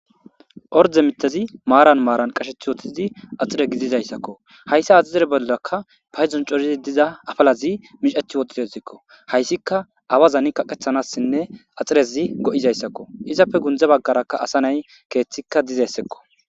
orde mithazi maaran maaran qashethi wotizi axire gidizayssakko hayssa axixire bollakka payzon corizi diza afalazi micethi woxitezekko hayssika awazani kaqethanassinne axirezi go7izayssakko izappe gundza baggarakka asa nay keeththikka dizessekko